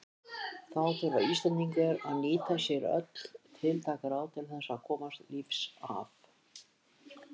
Þá þurftu Íslendingar að nýta sér öll tiltæk ráð til þess að komast lífs af.